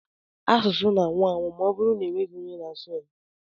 Asụsụ na-anwụ anwụ ma ọbụrụ na-enweghị onye na-asụ ya.